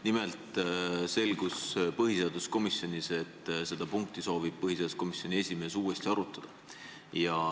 Nimelt selgus põhiseaduskomisjonis, et põhiseaduskomisjoni esimees soovib seda punkti uuesti arutada.